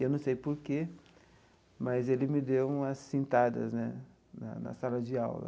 Eu não sei por quê, mas ele me deu umas cintadas né na na sala de aula.